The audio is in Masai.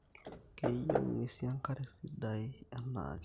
Keyieu nguesin enkare sidai enaake